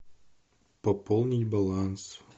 пополнить баланс